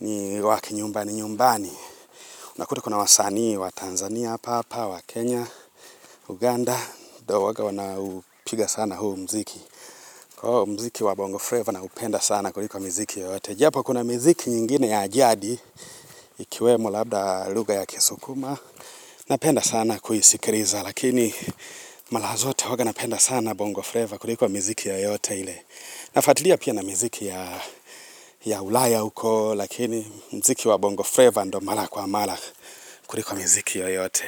ni wa kinyumbani nyumbani. Nakuta kuna wasanii wa Tanzania, hapa, wa Kenya, Uganda. Ndio huwanga wanaupiga sana huu mziki. Kwa hivyo mziki wa Bongo Flavour naupenda sana kuliko miziki yoyote. Japo kuna miziki nyingine ya ajadi, ikiwemo labda lugha ya kisukuma. Napenda sana kuisikiliza, lakini mara zote huwanga napenda sana Bongo Flavour kuliko miziki yoyote ile. Nafuatilia pia na miziki ya ulaya huko, lakini mziki wa bongo Flavour ndio mara kwa mara kuliko miziki yoyote.